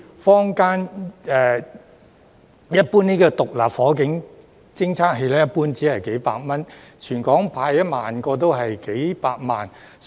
坊間的獨立火警偵測器一般只需數百元，全港派發1萬個只需數百萬元。